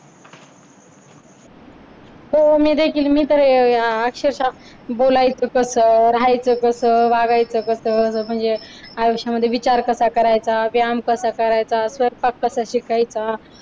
हो मी देखील मी तर अक्षरशा बोलायचं कस, राहायचं कसं, वागायचं कसं, म्हणजे अह आयुष्यामध्ये विचार कसा करायचा, व्यायाम कसा करायचा, स्वयंपाक कसा शिकायचा